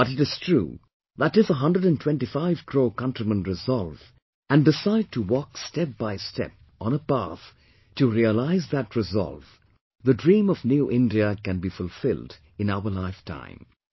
But it is true that if 125 crore countrymen resolve, and decide to walk step by step on a path to realise that resolve, the dream of 'New India' can be fulfilled in our lifetime